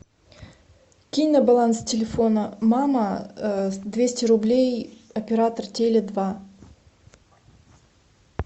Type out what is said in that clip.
кинь на баланс телефона мама двести рублей оператор теле два